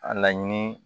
A laɲini